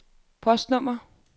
postnummer